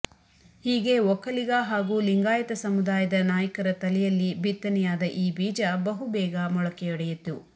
ಹೀಗೆ ಒಕ್ಕಲಿಗ ಹಾಗೂ ಲಿಂಗಾಯತ ಸಮುದಾಯದ ನಾಯಕರ ತಲೆಯಲ್ಲಿ ಬಿತ್ತನೆಯಾದ ಈ ಬೀಜ ಬಹುಬೇಗ ಮೊಳಕೆಯೊಡೆಯಿತು